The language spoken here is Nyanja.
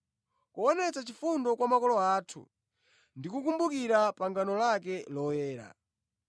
kuonetsa chifundo kwa makolo athu ndi kukumbukira pangano lake loyera,